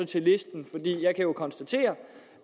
til listen for jeg jo kan konstatere